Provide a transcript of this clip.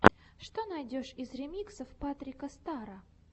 что найдешь из ремиксов патрика стара